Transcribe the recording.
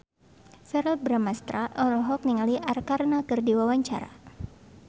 Verrell Bramastra olohok ningali Arkarna keur diwawancara